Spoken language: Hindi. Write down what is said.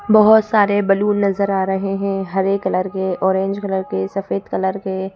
बहोत सारे बैलून नजर आ रहे हैं हरे कलर के ऑरेंज कलर के सफेद कलर के --